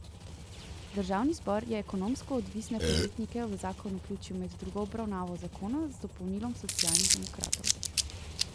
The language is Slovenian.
Državni zbor je ekonomsko odvisne podjetnike v zakon vključil med drugo obravnavo zakona z dopolnilom Socialnih demokratov.